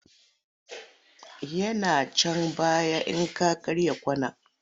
Yana can baya in ka karya kwana.